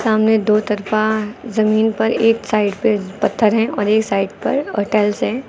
सामने दो तरफा जमीन पर एक साइड पे पत्थर है और एक साइड पर और टाइल्स है।